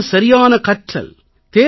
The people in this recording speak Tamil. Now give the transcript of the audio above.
இது தான் சரியான கற்றல்